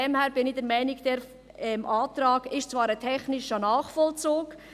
Ich bin der Meinung, der Antrag sei zwar ein technischer Nachvollzug.